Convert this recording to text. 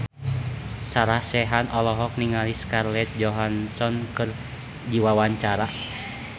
Sarah Sechan olohok ningali Scarlett Johansson keur diwawancara